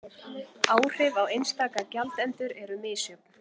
Áhrif á einstaka gjaldendur eru misjöfn